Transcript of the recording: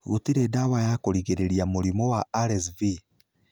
Gũtirĩ ndawa ya kũrigĩrĩria mũrimũ wa RSV.